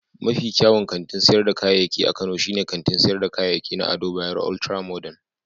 Mafi kyawun kantin sayar da kayayyaki a Kano shine kantin sayar da kayayyaki na Ado Bayero Ultra-Modern.